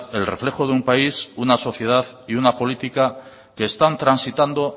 el reflejo de un país una sociedad y una política que están transitando